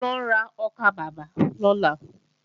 Mò ń lọ ra ọkàbàbà lọ́la